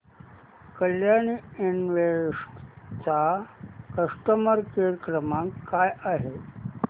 Kalyani invest चा customer care क्रमांक काय आहे